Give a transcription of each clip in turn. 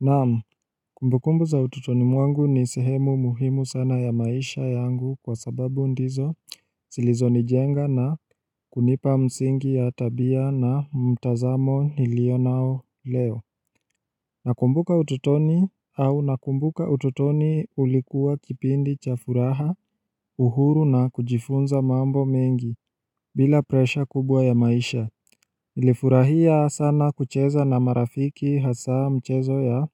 Naam, kumbukumbu za utotoni mwangu ni sehemu muhimu sana ya maisha yangu kwa sababu ndizo zilizo nijenga na kunipa msingi ya tabia na mtazamo nilio nao leo Nakumbuka utotoni au nakumbuka utotoni ulikuwa kipindi cha furaha uhuru na kujifunza mambo mengi bila presha kubwa ya maisha nilifurahia sana kucheza na marafiki hasa mchezo ya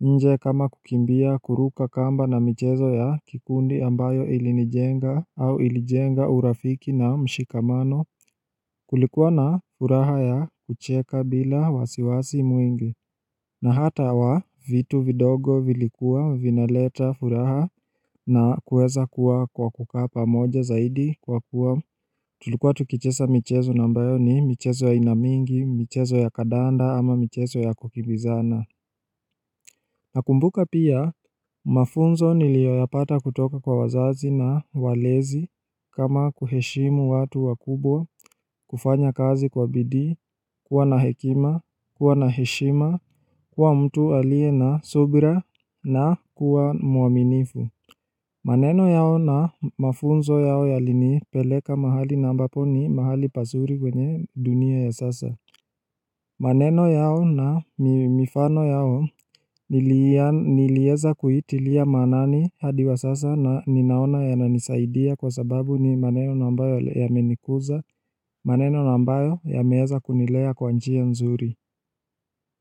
nje kama kukimbia kuruka kamba na michezo ya kikundi ambayo ilinijenga au ilijenga urafiki na mshikamano kulikuwa na furaha ya kucheka bila wasiwasi mwingi na hata wa vitu vidogo vilikuwa vinaleta furaha na kuweza kuwa kwa kukaa pamoja zaidi kwa kuwa tulikuwa tukicheza michezo na ambayo ni michezo ya aina mingi, michezo ya kadanda ama michezo ya kukimbizana Nakumbuka pia, mafunzo niliyoyapata kutoka kwa wazazi na walezi kama kuheshimu watu wakubwa, kufanya kazi kwa bidii kuwa na hekima, kuwa na heshima, kuwa mtu alie na subira na kuwa mwaminifu maneno yao na mafunzo yao yalinipeleka mahali na ambapo ni mahali pazuri kwenye dunia ya sasa maneno yao na mifano yao niliweza kuitilia maanani hadi wa sasa na ninaona yananisaidia kwa sababu ni maneno na ambayo yamenikuza, maneno na ambayo yameweza kunilea kwa njia nzuri.